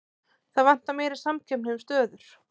Það vantar meiri samkeppni um stöður